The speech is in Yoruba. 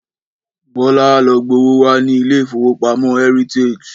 Bọ́lá á lo gbowó wá ní ilé ìfowópamọ́ Heritage